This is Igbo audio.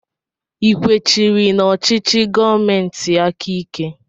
I kwechiri n'ọchịchị gọọmentị aka ike?